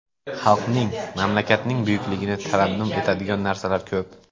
Xalqning, mamlakatning buyukligini tarannum etadigan narsalar ko‘p.